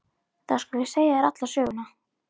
Þá skal ég segja þér alla söguna.